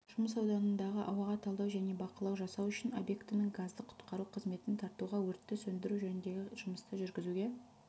жұмыс ауданындағы ауаға талдау және бақылау жасау үшін объектінің газдан құтқару қызметін тартуға өртті сөндіру жөніндегі жұмысты жүргізуге